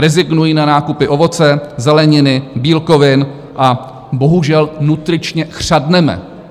Rezignují na nákupy ovoce, zeleniny, bílkovin a bohužel nutričně chřadneme.